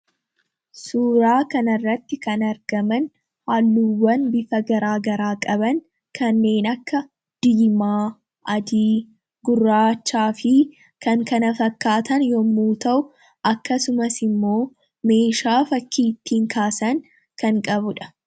suuraa kanarratti kan argaman haalluuwwan bifa garaa garaa qaban kanneen akka diimaa adi guraachaa fi kan kana fakkaatan yommuu ta'u akkasumas immoo meeshaa fakkii ittiin kaasan kan qabudha.